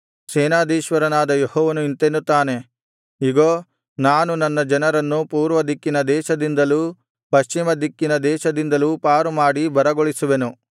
ಸೇನಾಧೀಶ್ವರನಾದ ಯೆಹೋವನು ಇಂತೆನ್ನುತ್ತಾನೆ ಇಗೋ ನಾನು ನನ್ನ ಜನರನ್ನು ಪೂರ್ವದಿಕ್ಕಿನ ದೇಶದಿಂದಲೂ ಪಶ್ಚಿಮದಿಕ್ಕಿನ ದೇಶದಿಂದಲೂ ಪಾರುಮಾಡಿ ಬರಗೊಳಿಸುವೆನು